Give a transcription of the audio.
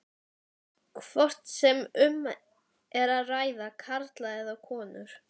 hvort sem um er að ræða karla eða konur.